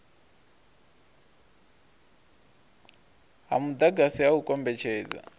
ha mudagasi ha u kombetshedza